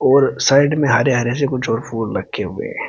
और साइड में हरे हरे से कुछ और फूल रखे हुए हैं।